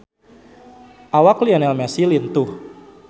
Awak Lionel Messi lintuh